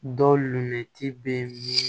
Dɔw lɛti bɛ